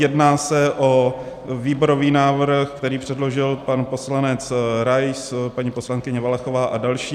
Jedná se o výborový návrh, který předložil pan poslanec Rais, paní poslankyně Valachová a další.